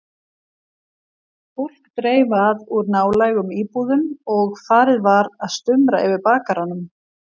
Fólk dreif að úr nálægum íbúðum og farið var að stumra yfir bakaranum.